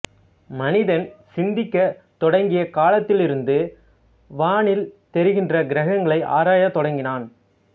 மனிதன் சிந்திக்கத் தொடங்கிய காலத்திலிருந்து வானில் தெரிகின்ற கிரகங்களை ஆராயத் தொடங்கினான்